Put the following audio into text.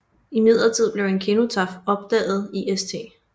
Imidlertid blev en kenotaf opdaget i St